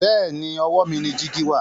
bẹẹni owó mí ní jìgì wà.